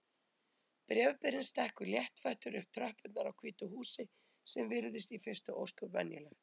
Bréfberinn stekkur léttfættur upp tröppurnar á hvítu húsi sem virðist í fyrstu ósköp venjulegt.